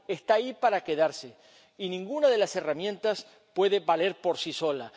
global. Está ahí para quedarse y ninguna de las herramientas puede valer por